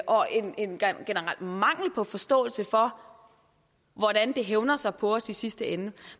og en generel mangel på forståelse for hvordan det hævner sig på os i sidste ende